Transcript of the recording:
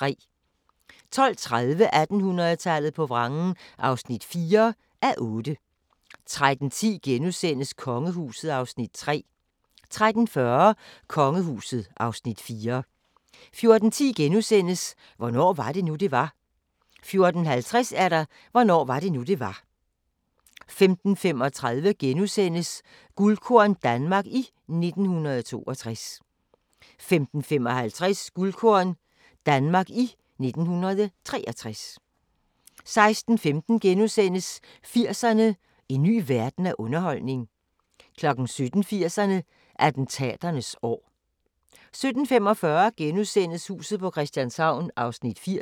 12:30: 1800-tallet på vrangen (4:8) 13:10: Kongehuset (Afs. 3)* 13:40: Kongehuset (Afs. 4) 14:10: Hvornår var det nu, det var? * 14:50: Hvornår var det nu, det var? 15:35: Guldkorn - Danmark i 1962 * 15:55: Guldkorn - Danmark i 1963 16:15: 80'erne: En ny verden af underholdning * 17:00: 80'erne: Attentaternes år 17:45: Huset på Christianshavn (80:84)*